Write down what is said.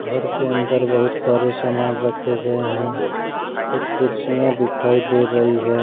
घर के अंदर बहुत सारे सामान रखे गये हैं कुछ कुर्सियां दिखाई दे रही है।